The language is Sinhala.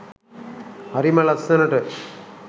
හරිම ලස්සනට